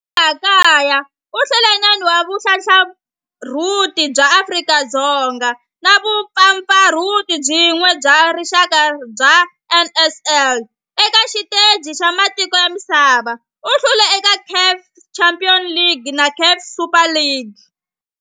Laha kaya u hlule 9 wa vumpfampfarhuti bya Afrika-Dzonga na vumpfampfarhuti byin'we bya rixaka bya NSL. Eka xiteji xa matiko ya misava, u hlule eka CAF Champions League na CAF Super Cup.